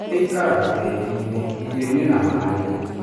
Ĩikaraga tĩriinĩ, irio-inĩ na maĩ-inĩ.